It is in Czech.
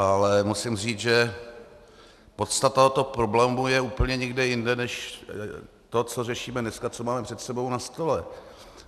Ale musím říct, že podstata tohoto problému je úplně někde jinde než to, co řešíme dneska, co máme před sebou na stole.